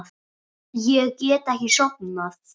Ég get ekki sofnað.